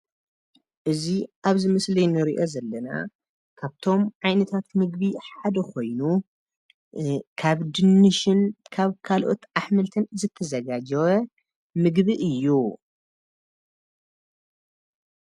እዚ ኣብዚ ምስሊ ንሪኦ ዘለና ካብቶም ዓይነታት ምግቢ ሓደ ኮይኑ ካብ ድንሽን ካብ ካልኦታት ኣሕምልትን ዝተዘጋጀወ ምግቢ እዩ ።